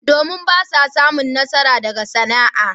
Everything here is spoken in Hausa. Domin! Ba na samun nasara daga sana'a.